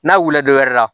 N'a wulila dɔ wɛrɛ la